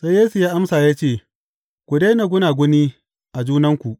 Sai Yesu ya amsa ya ce, Ku daina gunaguni a junanku.